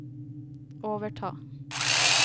overta